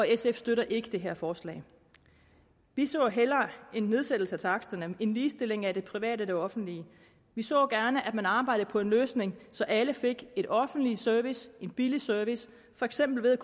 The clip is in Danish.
sf støtter ikke det her forslag vi så hellere en nedsættelse af taksterne og en ligestilling af det private og det offentlige vi så gerne at man arbejdede på en løsning så alle fik en offentlig service en billig service for eksempel ved at